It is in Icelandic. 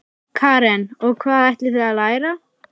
Karen: Og hvað ætlið þið að læra?